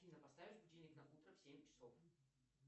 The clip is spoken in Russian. афина поставь будильник на утро в семь часов